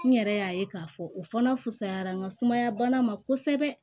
N yɛrɛ y'a ye k'a fɔ u fana fusayara n ka sumaya bana ma kosɛbɛ